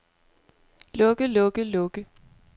lukke lukke lukke